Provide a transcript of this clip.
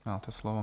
Máte slovo.